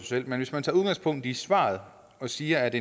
selv men hvis man tager udgangspunkt i svaret og siger at